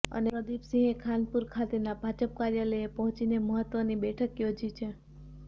અને પ્રદિપસિંહે ખાનપુર ખાતેના ભાજપ કાર્યાલયે પહોંચીને મહત્વની બેઠક યોજી છે